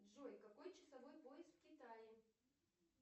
джой какой часовой пояс в китае